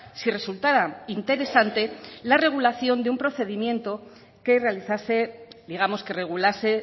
si resultara interesante la regulación de un procedimiento que realizase digamos que regulase